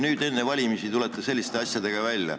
Nüüd enne valimisi tulete selliste eelnõudega välja.